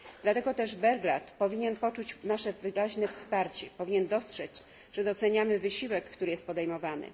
Dlatego też Belgrad powinien poczuć nasze wyraźne wsparcie, powinien dostrzec, że doceniamy wysiłek, który jest podejmowany.